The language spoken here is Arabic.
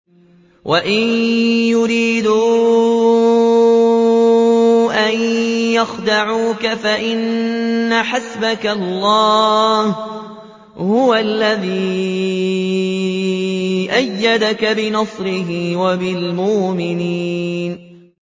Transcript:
وَإِن يُرِيدُوا أَن يَخْدَعُوكَ فَإِنَّ حَسْبَكَ اللَّهُ ۚ هُوَ الَّذِي أَيَّدَكَ بِنَصْرِهِ وَبِالْمُؤْمِنِينَ